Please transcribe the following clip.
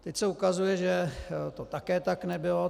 Teď se ukazuje, že to také tak nebylo.